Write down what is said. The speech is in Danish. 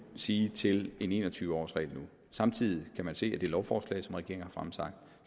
sige til en en og tyve årsregel nu samtidig kan man se af det lovforslag som regeringen